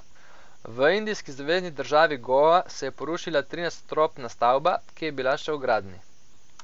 V indijski zvezni državi Goa se je porušila trinadstropna stavba, ki je bila še v gradnji.